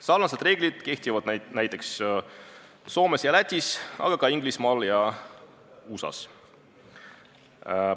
Sarnased reeglid kehtivad näiteks Soomes ja Lätis, aga ka Inglismaal ja USA-s.